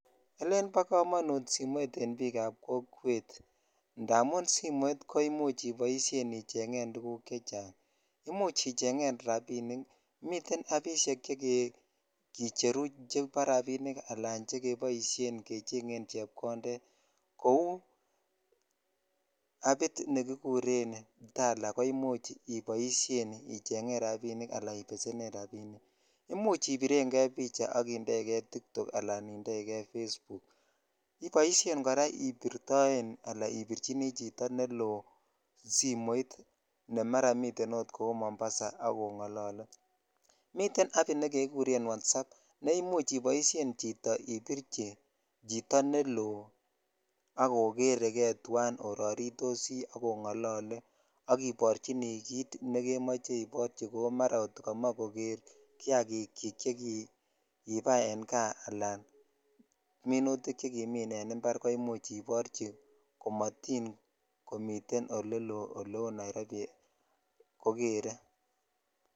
Elen bo komonut an bik ab kokwet indamuni simoit iboishen icheng tuguk chechang imuch ichengen rabinik miten apishek chekicheru chebo rabik ala chekeboishen gechengen cheb konded kou apit ne kiguren tala ko imech iboishen icheng rabinik ala ibesenen rabinik imuch ibiren kei picha ak indoi jei tiktok ala indoi kei Facebook iboishe kora ibirtoen ton aka ibicjini chito nelo simoit ne mara miten okkou mombasa ak ongolole miten apit negeguren WhatsApp nr imuch iboshen ibirchi chito neloo ak okeree kei twan ak ororotosi onglloole ak iborchini kit nekemoche iborchi kou mara komoche kiakichik chekibai en kaa ala minutik chekimin impar ko imuch iborchi ko motin komiten oleloo oleu Nairobi ko geree